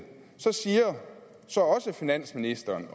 siger finansministeren